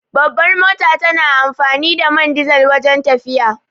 Babbar mota tana amfani da man dizal wajen tafiya